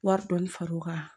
Wari dɔɔni farar'o kan